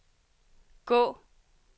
gå